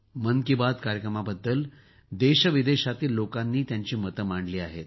मन की बात कार्यक्रमाबद्दल देश विदेशातील लोकांनी त्यांची मते मांडली आहेत